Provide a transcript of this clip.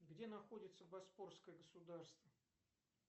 где находится боспорское государство